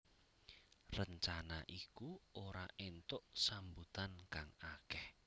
Rencana iku ora entuk sambutan kang akeh